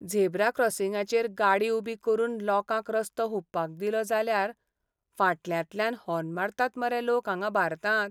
Zebra क्रॉसिंगाचेर गाडी उबी करून लोकांक रस्तो हुंपपाक दिलो जाल्यार फाटल्यांतल्यान हॉर्न मारतात मरे लोक हांगां भारतांत.